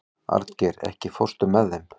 Arngeir, ekki fórstu með þeim?